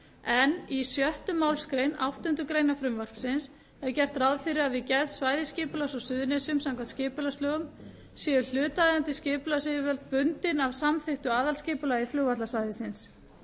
en í sjöttu málsgrein áttundu greinar frumvarpsins er gert ráð fyrir að við gerð svæðisskipulags á suðurnesjum samkvæmt skipulagslögum séu hlutaðeigandi skipulagsyfirvöld bundin af samþykktu aðalskipulagi flugvallarsvæðisins